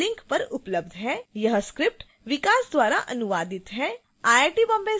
इस mission पर अधिक जानकारी इस link पर उपलब्ध है